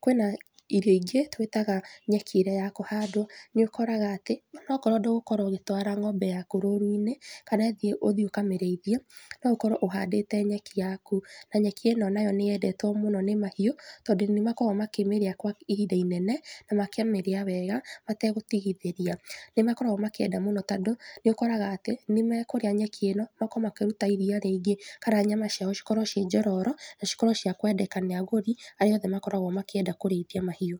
kwina irio ingĩ twitaga nyeki ĩrĩa ya kũhandwo nĩũkoraga atĩ ona okorwo ndũgũkorwo ũgĩtwara ngómbe ĩno yaku rũru-inĩ kana ũthiĩ ũkamĩrĩithie no ũkorwo ũhandĩte nyeki yaku na nyeki ĩno nayo nĩyendetwo mũno nĩ mahiũ tondũ nĩmakoragwo makĩmĩrĩa kwa ihinda inene na makamĩria wega mategũtigithĩria, nĩmakoragwo makĩenda mũno tondũ nĩũkoraga atĩ nĩmekũrĩa nyeki ĩno makorwo makĩruta iria rĩingĩ kana nyama ciao cikorwo ci njororo na cikorwo ciakwendeka nĩ agũri arĩa othe makoragwo makĩenda kũrĩithia mahiũ.